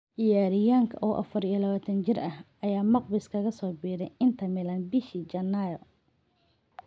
Ciyaaryahanka oo 24 jir ah, ayaa Magpies kaga soo biiray Inter Milan bishii Janaayo.